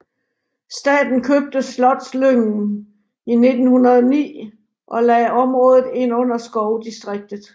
Staten købte Slotslyngen i 1909 og lagde området ind under skovdistriktet